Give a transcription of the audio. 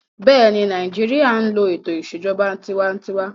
Bẹ́ẹ̀ni, Nàìjíríyà n lo ètò ìṣèjọba tinwatinwa